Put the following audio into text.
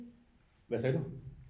Hvad sagde du